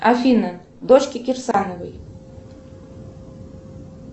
афина дочки кирсановой